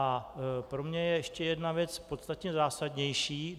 A pro mě je ještě jedna věc podstatně zásadnější.